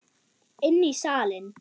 Inn í salinn.